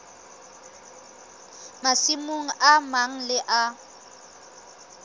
masimong a mang le a